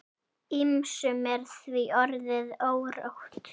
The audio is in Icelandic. Ýmsum er því orðið órótt.